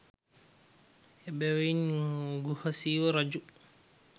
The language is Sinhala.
එබැවින් ගුහසීව රජු